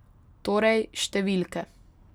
Torej, številke ...